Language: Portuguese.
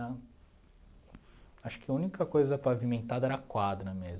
Acho que a única coisa pavimentada era a quadra mesmo.